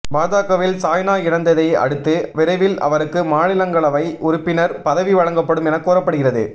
பாஜகவில் சாய்னா இணைந்ததை அடுத்து விரைவில் அவருக்கு மாநிலஙகளவை உறுப்பினர் பதவி வழங்கப்படும் என கூறப்படுகிறது